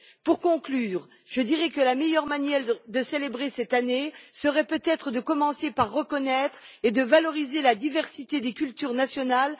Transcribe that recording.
Pour conclure, je dirais que la meilleure manière de célébrer cette année serait peut être de commencer par reconnaître et valoriser la diversité des cultures nationales